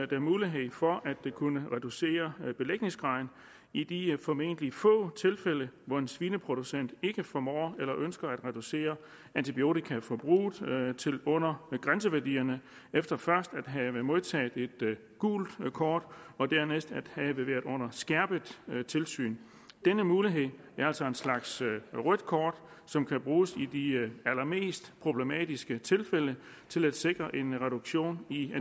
der mulighed for at kunne reducere belægningsgraden i de formentlig få tilfælde hvor en svineproducent ikke formår eller ikke ønsker at reducere antibiotikaforbruget til under grænseværdierne efter først at have modtaget et gult kort og dernæst at have været under skærpet tilsyn denne mulighed er altså en slags rødt kort som kan bruges i de allermest problematiske tilfælde til at sikre en reduktion i